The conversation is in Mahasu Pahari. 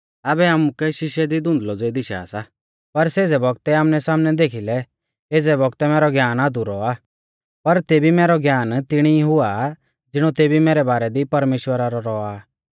आबै आमुकै शीशै दी धुंधलौ ज़ेई दिशा सा पर सेज़ै बौगतै आमनैसामनै देखीलै एज़ै बौगतै मैरौ ज्ञान अधुरौ आ पर तेबी मैरौ ज्ञान तिणी ई हुआ ज़िणौ तेबी मैरै बारै दी परमेश्‍वरा रौ आ